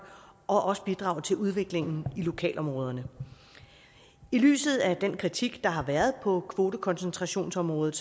og også bidrage til udviklingen i lokalområderne i lyset af den kritik der har været på kvotekoncentrationsområdet